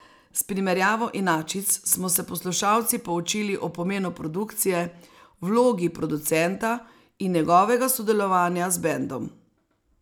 S primerjavo inačic smo se poslušalci poučili o pomenu produkcije, vlogi producenta in njegovega sodelovanja z bendom.